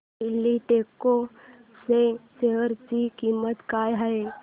एल्डेको च्या शेअर ची किंमत काय आहे